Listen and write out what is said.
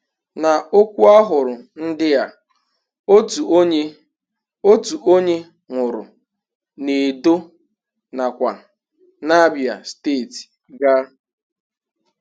Na okwu ahụrụ ndị a, otu onye, otu onye nwụrụ n' Edo nakwa n'Abia steeti ga.